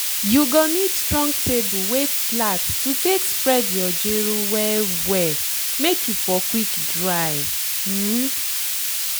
you go need strong table wey flat to take spread your gero well well make e for quick dry. um